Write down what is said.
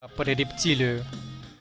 рептилию